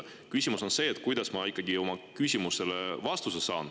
Küsimus on see, et kuidas ma oma küsimusele vastuse saan.